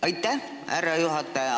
Aitäh, härra juhataja!